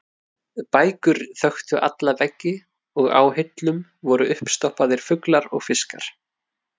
Bækur þöktu alla veggi og á hillum voru uppstoppaðir fuglar og fiskar.